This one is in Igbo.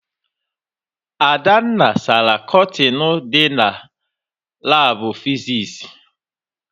Adanna sara kọtịnụ dị na Labụ fizis